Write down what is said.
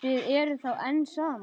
Þið eruð þá enn saman?